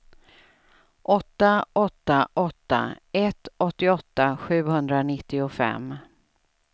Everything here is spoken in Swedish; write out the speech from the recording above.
åtta åtta åtta ett åttioåtta sjuhundranittiofem